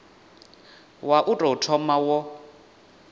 wa u tou thoma wo